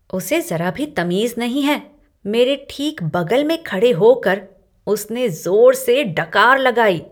उसे जरा भी तमीज नहीं है। मेरे ठीक बगल में खड़े होकर उसने जोर से डकार लगाई।